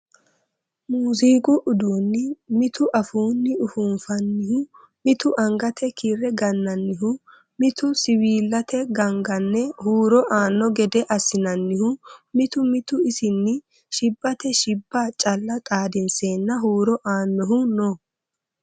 Muziiqu uduuni mitu afuuni ufunfanihu mitu angate kiire gananihu mitu siwiillate gangane huuro aano gede assinanihu mitu mitu isinni shibbate shibba calla xaadinsenna huuro aanohu no.